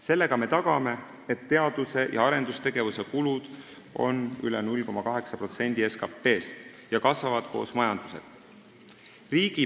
Sellega me tagame, et teadus- ja arendustegevuse kulud on üle 0,8% SKT-st ning kasvavad koos majandusega.